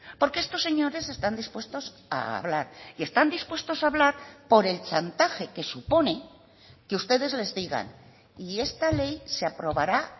porque estos señores están dispuestos a hablar y están dispuestos a hablar por el chantaje que supone que ustedes les digan y esta ley se aprobará